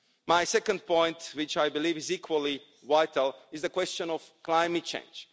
My second point, which I believe is equally vital, is the question of climate change.